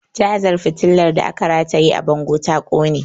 Cazar fitilar da aka rataye a bango ta ƙone